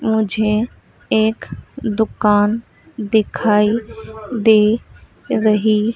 मुझे एक दुकान दिखाई दे रही--